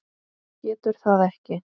Getur það ekki.